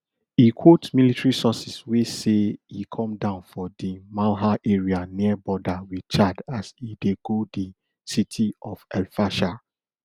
e quote military sources wey say e come down for di malha area near border wit chad as e dey go di city of elfasher